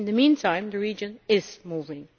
In the meantime the region is moving.